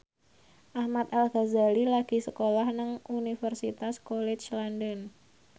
Ahmad Al Ghazali lagi sekolah nang Universitas College London